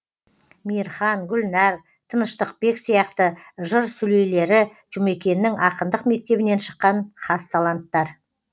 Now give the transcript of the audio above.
мейірхан гүлнәр тыныштықбек сияқты жыр сүлейлері жұмекеннің ақындық мектебінен шыққан хас таланттар